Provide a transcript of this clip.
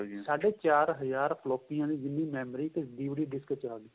ਸਾਢ਼ੇ ਚਾਰ ਹਜ਼ਾਰ ਫ੍ਲੋਪੀਆਂ ਦੀ ਜਿੰਨੀ memory ਇੱਕ DVD disk ਵਿੱਚ ਆਂ ਗਈ